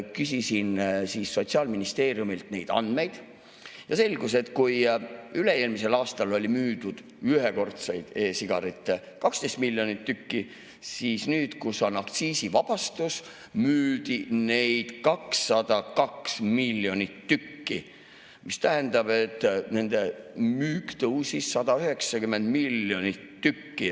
Küsisin Sotsiaalministeeriumist andmeid ja selgus, et kui üle-eelmisel aastal müüdi ühekordseid e-sigarette 12 miljonit tükki, siis nüüd, kui on aktsiisivabastus, müüdi neid 202 miljonit tükki, mis tähendab, et nende müük tõusis 190 miljonit tükki.